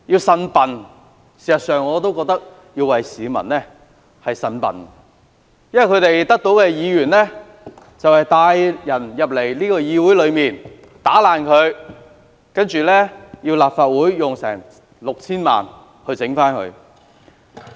事實上，我亦要替市民"呻笨"，因為他們選出的議員帶人進入議會，損毀設施，令立法會需要花 6,000 萬元進行維修。